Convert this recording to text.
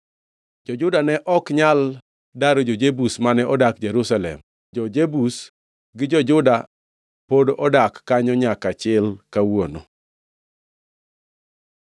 Jo-Juda ne ok nyal daro jo-Jebus, mane odak Jerusalem; jo-Jebus gi jo-Juda pod odak kanyo nyaka chil kawuono.